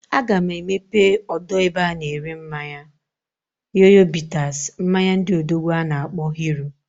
A ga m emepe odo ebe a na ere mmanya Yoyo bitters, mmanya ndị odogwu a na akpo Hero.